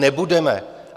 Nebudeme!